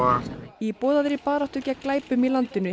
í boðaðri baráttu gegn glæpum í landinu